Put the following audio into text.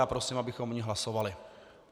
Já prosím, abychom o ní hlasovali.